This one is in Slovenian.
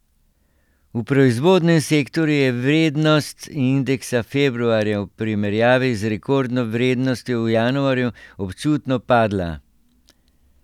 V proizvodnem sektorju je vrednost indeksa februarja v primerjavi z rekordno vrednostjo v januarju občutno padla.